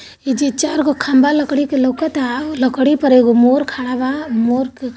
एक मोर लकड़ी के चार टुकड़ों पर खड़ा है और---